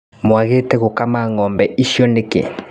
Mwagĩte gũkama ngombe icio nĩkĩ.